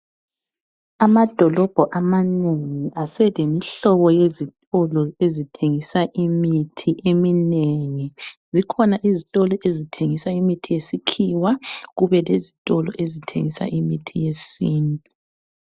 Amadolobho amanengi aselemihlobo yezitolo ezithengisa imithi eminengi. Zikhona izitolo ezithengisa imithi yesikhiwa kube lezitolo ezithengisa imithi yesintu.